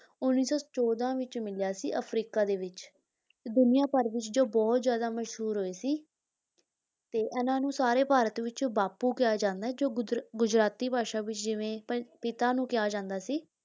ਉੱਨੀ ਸੌ ਚੌਦਾਂ ਵਿੱਚ ਮਿਲਿਆ ਸੀ ਅਫਰੀਕਾ ਦੇ ਵਿੱਚ ਤੇ ਦੁਨੀਆਂ ਭਰ ਵਿੱਚ ਜੋ ਬਹੁਤ ਜ਼ਿਆਦਾ ਮਸ਼ਹੂਰ ਹੋਏ ਸੀ ਤੇ ਇਹਨਾਂ ਨੂੰ ਸਾਰੇ ਭਾਰਤ ਵਿੱਚ ਬਾਪੂ ਕਿਹਾ ਜਾਂਦਾ ਹੈ, ਜੋ ਗੁਜਰ ਗੁਜਰਾਤੀ ਭਾਸ਼ਾ ਵਿੱਚ ਜਿਵੇਂ ਪ ਪਿਤਾ ਨੂੰ ਕਿਹਾ ਜਾਂਦਾ ਸੀ,